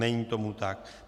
Není tomu tak.